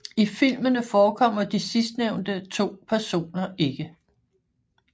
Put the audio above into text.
I filmene forekommer de sidstnævnte to personer ikke